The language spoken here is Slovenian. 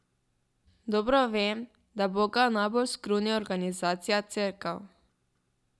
Dobro vem, da Boga najbolj skruni organizacija, Cerkev.